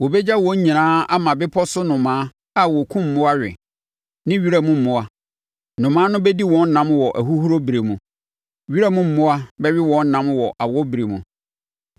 Wɔbɛgya wɔn nyinaa ama bepɔ so nnomaa a wɔkum mmoa we, ne wiram mmoa; nnomaa no bɛdi wɔn nam wɔ ahuhuro ɛberɛ mu. Wiram mmoa bɛwe wɔn nam wɔ awɔ berɛ mu.